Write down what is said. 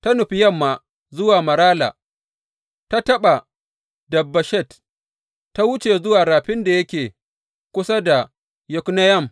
Ta nufi yamma zuwa Marala, ta taɓa Dabbeshet, ta wuce zuwa rafin da yake kusa da Yokneyam.